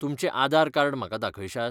तुमचें आदार कार्ड म्हाका दाखयशात?